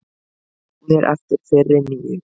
Jafnir eftir fyrri níu